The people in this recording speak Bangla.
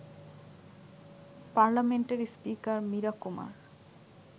পার্লামেন্টের স্পিকার মীরা কুমার